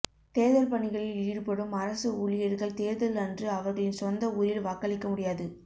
தேர்தல் பணிகளில் ஈடுபடும் அரசு ஊழியர்கள் தேர்தல் அன்று அவர்களின் சொந்த ஊரில் வாக்களிக்க முடியாது